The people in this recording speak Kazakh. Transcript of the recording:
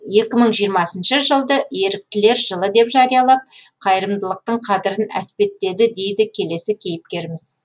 екі мың жиырмасыншы жылды еріктілер жылы деп жариялап қайырымдылықтың қадірін әспеттеді дейді келесі кейіпкеріміз